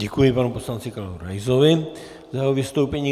Děkuji panu poslanci Karlu Raisovi za jeho vystoupení.